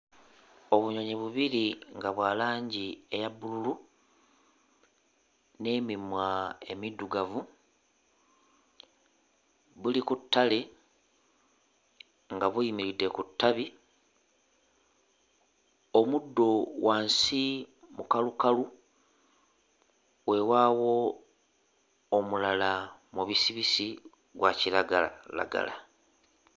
Obunyonyi bubiri nga bwa langi eya bbululu n'emimwa emiddugavu buli ku ttale nga buyimiridde ku ttabi. Omuddo wansi mukalukalu, weewaawo omulala mubisibisi gwa kiragalalagala.